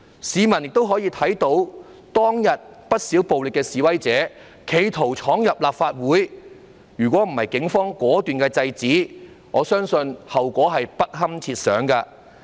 市民亦可以看到，當天不少暴力示威者企圖闖入立法會，如果不是警方果斷制止，我相信後果是不堪設想的。